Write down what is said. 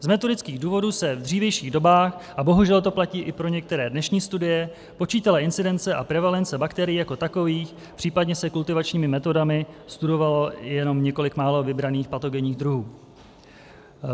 Z metodických důvodů se v dřívějších dobách, a bohužel to platí i pro některé dnešní studie, počítala incidence a prevalence bakterií jako takových, případně se kultivačními metodami studovalo jenom několik málo vybraných patogenních druhů.